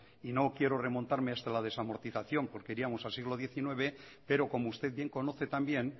y no quiero remontarme hasta la desamortización porque iríamos al siglo diecinueve pero como usted bien conoce también